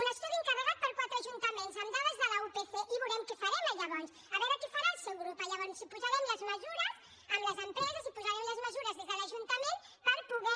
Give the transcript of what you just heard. un estudi encarregat per quatre ajuntaments amb dades de l’upc i veurem què farem llavors a veure què farà el seu grup llavors si posarem les mesures amb les empreses si posarem les mesures des de l’ajuntament per poder